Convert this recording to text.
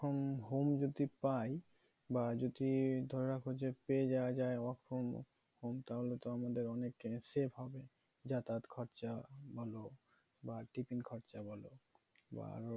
home যদি পাই বা যদি ধরে রাখো যে পেয়ে যাওয়া যায় work from home তাহলে তো আমাদের অনেক safe হবে যাতায়াত খরচা বলো বা tiffin খরচা বলো বা আরো